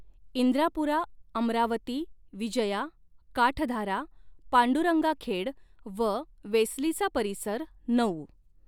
इंद्रापुरा अमरावती विजया काठधारा पांडुरंगा खेड व वेसलीचा परिसर नऊ.